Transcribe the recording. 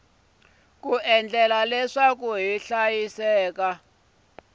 ku endla leswaku hiv na